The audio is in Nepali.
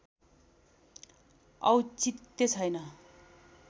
औचित्य छैन